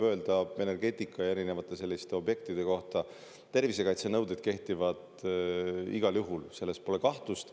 Energeetika ja erinevate objektide kohta võib öelda, et tervisekaitsenõuded kehtivad igal juhul, selles pole kahtlust.